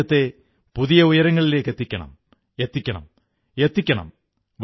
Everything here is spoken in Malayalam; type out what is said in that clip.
നാം രാജ്യത്തെ പുതിയ ഉയരങ്ങളിലേക്കെത്തിക്കണം എത്തിക്കണം എത്തിക്കണം